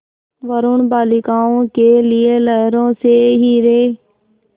वरूण बालिकाओं के लिए लहरों से हीरे